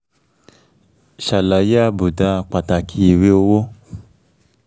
ṣàlàyé àbùdá pàtàkì ìwé owó